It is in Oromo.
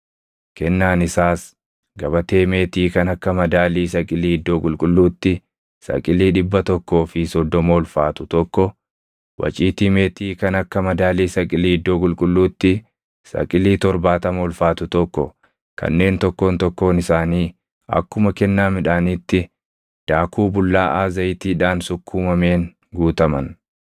Kennaan isaas gabatee meetii kan akka madaalii saqilii iddoo qulqulluutti saqilii dhibba tokkoo fi soddoma ulfaatu tokko, waciitii meetii kan akka madaalii saqilii iddoo qulqulluutti saqilii torbaatama ulfaatu tokko kanneen tokkoon tokkoon isaanii akkuma kennaa midhaaniitti daaku bullaaʼaa zayitiidhaan sukkuumameen guutaman,